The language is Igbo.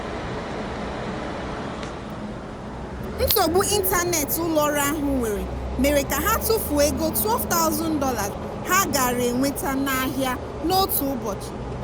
nsogbu ịntanetị ụlọọrụ ahụ nwere mere ka ha tụfuo ego $12000 ha gaara enweta n'ahịa n'otu ụbọchị.